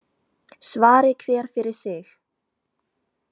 Svari hver fyrir sig.